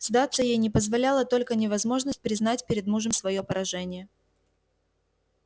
сдаться ей не позволяла только невозможность признать перед мужем своё поражение